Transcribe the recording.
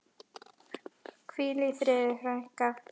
Hvíl í friði, frænka.